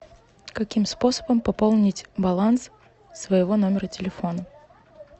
каким способом пополнить баланс своего номера телефона